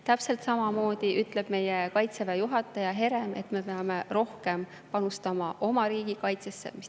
Täpselt samamoodi ütleb meie Kaitseväe juhataja Herem, et me peame rohkem panustama oma riigikaitsesse.